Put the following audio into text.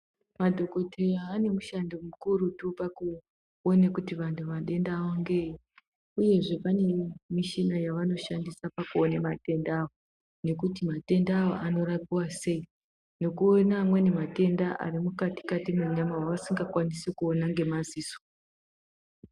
Madhokodheya ane mushando mukurutu pakuone kuti vantu madenda avo ngeeyi, uyezve pane mishina yavanoshandisa pakuone matenda aya, nekuti matenda aya anorapiwa sei, nekuona amweni matenda arimukati-kati mwenyama avasingakwanisi kuona ngemaziso.